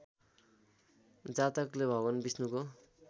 जातकले भगवान् विष्णुको